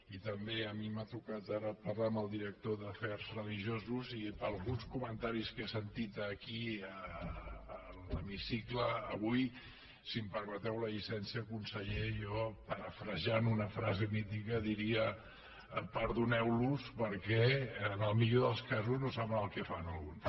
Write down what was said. i també a mi m’ha tocat ara parlar amb el director d’afers religiosos i per alguns comentaris que he sentit aquí a l’hemicicle avui si em permeteu la llicència conseller jo parafrasejant una frase mítica diria perdoneu los perquè en el millor dels casos no saben el que fan alguns